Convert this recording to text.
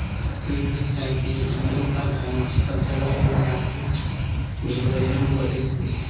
हमको ये दिख रहा है की यह हिन्दू का धर्म उस्तव है जहाँ की वीर बंजरंग बली भी--